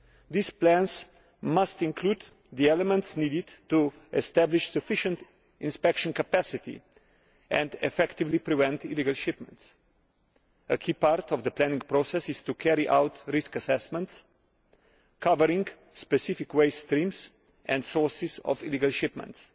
These plans must include the elements needed to establish sufficient inspection capacity and effectively prevent illegal shipments. A key part of the planning process is to carry out risk assessments, covering specific waste streams and sources of illegal shipments.